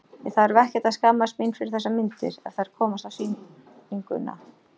Ég þarf ekkert að skammast mín fyrir þessar myndir, ef þær komast á sýninguna.